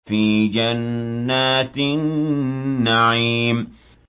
فِي جَنَّاتِ النَّعِيمِ